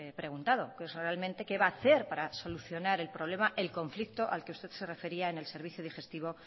preguntado que es realmente qué va a hacer para solucionar el problema el conflicto al que usted se refería en el servicio digestivo